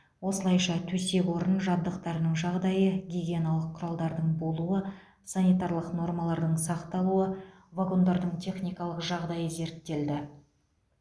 осылайша төсек орын жабдықтарының жағдайы гигиеналық құралдардың болуы санитарлық нормалардың сақталуы вагондардың техникалық жағдайы зерттелді